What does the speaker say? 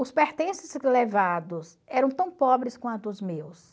Os pertences levados eram tão pobres quanto os meus.